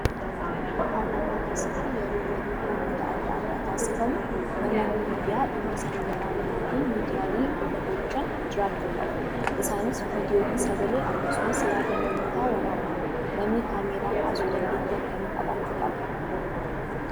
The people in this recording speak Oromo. Paarlaamaa keessatti yeroo mariin dhimmoota adda addaa taasifamu namoonni miidiyaa dhimma sana waraabanii fi miidiyaalee irra oolchan jiraachuu qabu. Isaanis viidiyoo fi sagalee akkasumas yaada namootaa waraabu. Namni kaameeraa kaasu dandeettii akkamii qabaachuu qaba?